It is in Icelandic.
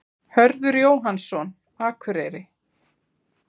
Hörður Jóhannsson, Akureyri